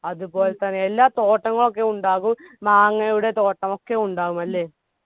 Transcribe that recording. അതുപോലെതന്നെ എല്ലാ തോട്ടങ്ങളൊക്കെ ഉണ്ടാകും മാങ്ങയുടെ തോട്ടം ഒക്കെ ഉണ്ടാകും അല്ലെ